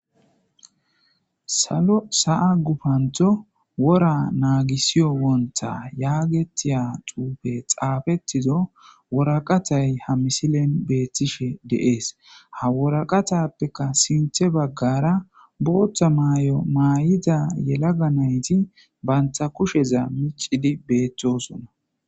salo sa'a gufanththo wora naagisiiyo wonta yaagetiya xuufe xaafettizo woraqatay ha misilen betiishishe de'ees ha woraqatappekka sinththe baggara booththa maay'o maayida yelagga nayti banta kusheza miicidi betosoona